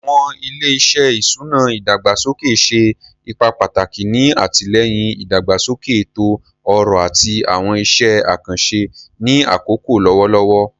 Awọn ile-iṣẹ iṣuna idagbasoke ṣe ipa pataki ni atilẹyin idagbasoke eto-ọrọ ati awọn iṣẹ akanṣe ni akoko lọwọlọwọ.